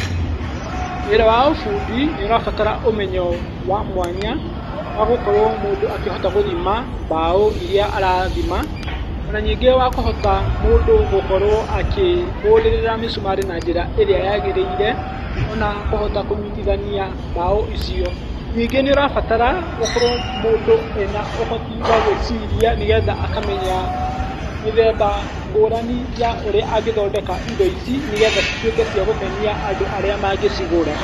Wĩra wa ũbundi nĩ ũrabatara ũmenyo wa mwanya wa gũkorwo mũndũ akĩhota gũthima mbaũ iria arathima. Ona ningĩ wa kũhota mũndũ gũkorwo akĩhũrĩrĩra mĩcumarĩ na njĩra ĩrĩa yagĩrĩire, ona kũhota kunyitithania mbaũ icio. Ningĩ nĩũrabatara ũkorwo mũndũ ena ũhoti wagwĩciria, nĩgetha akamenya mĩthemba ngũrani ya ũrĩa angĩthondeka indo ici, nĩgetha cituĩke cia gũkenia andũ arĩa mangĩcigũra.